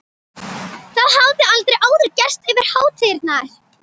Það hafði aldrei áður gerst yfir hátíðarnar.